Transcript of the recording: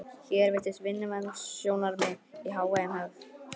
Hér virtust vinnuverndarsjónarmiðin í hávegum höfð.